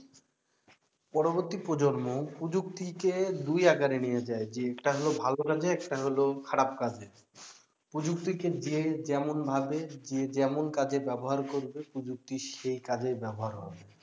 পরবর্তী প্রজন্ম প্রযুক্তি কে দুই আকারে নিয়েছে আরকি একটা হলো ভালো কাজে একটা হলো খারাপ কাজে প্রযুক্তিকে যে যেমন ভাবে যে যেমন কাজে ব্যাবহার করবে প্রযুক্তি সেই কাজে ব্যাবহার হবে